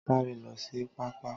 Saaré lo sí pá-pá